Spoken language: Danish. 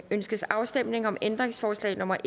ønskes afstemning om ændringsforslag nummer